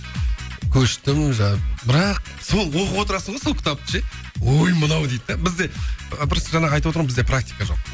көштім жаңағы бірақ сол оқып отырасың ғой сол кітапты ше ой мынау дейді де бізде просто жаңағы айтып отырмын ғой бізде практика жоқ